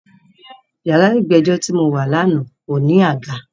Yàrá ìgbẹ́jọ́ ti mo wà lánàá ò ní àga.